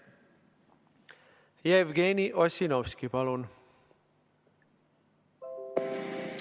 Jevgeni Ossinovski, palun!